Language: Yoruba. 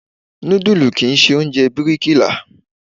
Núdù kì ń ṣe oúnjẹ bíríkì là.